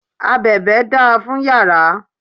Abèbè da fún yàrá.